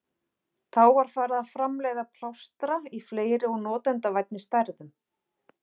Þá var farið að framleiða plástra í fleiri og notendavænni stærðum.